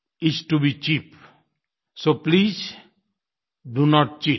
s to be cheap so please do note cheat